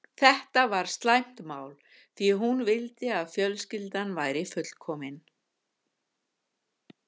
Þetta var slæmt mál, því hún vildi að fjölskyldan væri fullkomin.